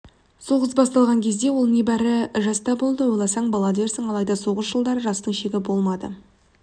соғыс басталған кезде ол небәрі жаста болды ойласаң бала дерсің алайда соғыс жылдары жастың шегі болмады